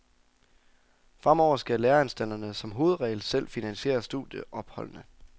Fremover skal læreanstalterne som hovedregel selv finansiere studieopholdene.